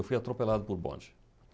Eu fui atropelado por bonde.